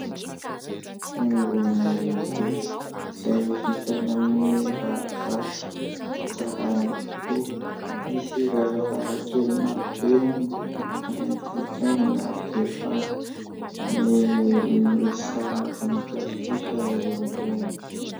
Fiangonana lehibe izay vita avy amin'ny rarivato, tsara haingo tokoa. Misy varavarankely maro be, ary ny tilikambony avo dia avo. Misy sarina voninkazo kosa eo amin'ny lohany.